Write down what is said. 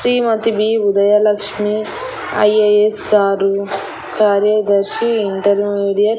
శ్రీమతి B Udayalakshmi IAS గారు కార్యదర్శి intermediate --